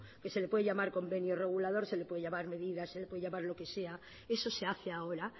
que se le puede llamar convenio regulador se le puede llamar medidas se le puede llamar lo que sea eso se hace ahora